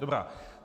Dobrá.